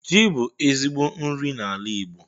Ji bụ ezigbo nri n'ala Igbo